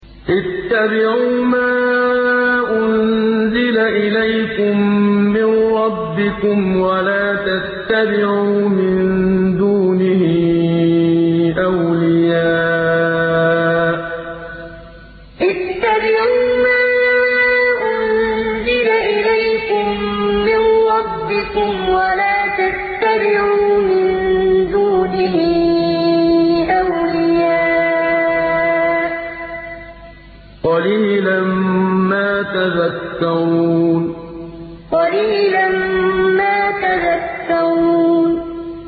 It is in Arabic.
اتَّبِعُوا مَا أُنزِلَ إِلَيْكُم مِّن رَّبِّكُمْ وَلَا تَتَّبِعُوا مِن دُونِهِ أَوْلِيَاءَ ۗ قَلِيلًا مَّا تَذَكَّرُونَ اتَّبِعُوا مَا أُنزِلَ إِلَيْكُم مِّن رَّبِّكُمْ وَلَا تَتَّبِعُوا مِن دُونِهِ أَوْلِيَاءَ ۗ قَلِيلًا مَّا تَذَكَّرُونَ